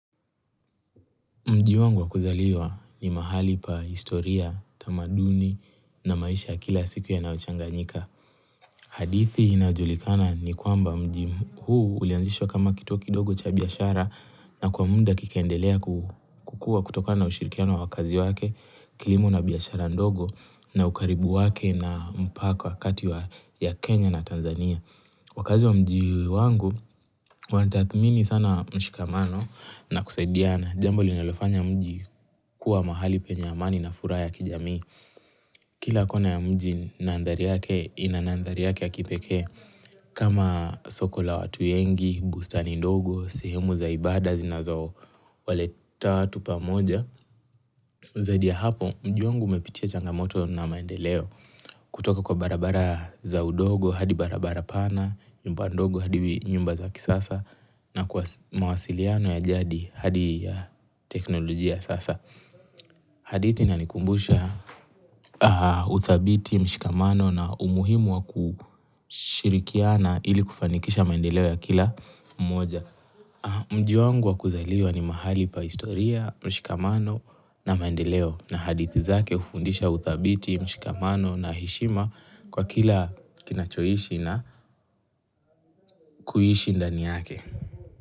Mjii wangu wa kuzaliwa ni mahali pa historia, tamaduni na maisha ya kila siku yanayochanganyika. Hadithi inayojulikana ni kwamba mji huu ulianzishwa kama kituo kidogo cha biashara na kwa muda kikaendelea kukua kutokana ushirikiano wa wakazi wake, kilimo na biashara ndogo na ukaribu wake na mpaka kati ya Kenya na Tanzania. Wakazi wa mjii wangu, wanatathmini sana mshikamano na kusaidiana. Jambo linalofanya mji kuwa mahali penye amani na furaha ya kijamii. Kila kona ya mji ina nandhari yake ya kipekee. Kama soko la watu wengi, bustani ndogo, sehemu za ibada zinazo waleta watu pamoja. Zaidi ya hapo mji wangu umepitia changamoto na maendeleo. Kutoka kwa barabara za udogo hadi barabara pana, nyumba ndogo hadi nyumba za kisasa. Na kwa mawasiliano ya jadi hadi ya teknolojia sasa hadithi inanikumbusha uthabiti mshikamano na umuhimu wa kushirikiana ili kufanikisha maendeleo ya kila mmoja Mji wangu wa kuzaliwa ni mahali pa historia mshikamano na maendeleo na hadithi zake ufundisha uthabiti mshikamano na heshima kwa kila kinachoishi na kuhishi ndani yake.